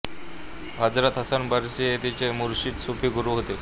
Hazrat Hasan Basri हे तिचे मुर्शिद सुफी गुरू होते